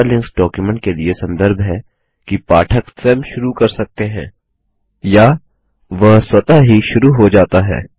hyperlinks document के लिए संदर्भ है कि पाठक स्वयं शुरू कर सकते हैं या वह स्वतः ही शुरू हो जाता है